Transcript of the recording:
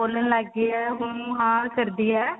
ਬੋਲਣ ਲੱਗ ਗਈ ਏ ਹੂੰ ਹਾਂ ਕਰਦੀ ਹੈ